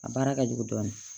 A baara ka jugu dɔɔni